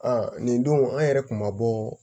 nin don an yɛrɛ kun ma bɔ